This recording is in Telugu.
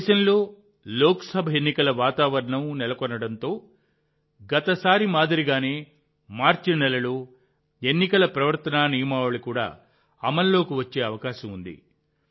దేశంలో లోక్సభ ఎన్నికల వాతావరణం నెలకొనడంతో గత సారి మాదిరిగానే మార్చి నెలలో ఎన్నికల ప్రవర్తనా నియమావళి కూడా అమల్లోకి వచ్చే అవకాశం ఉంది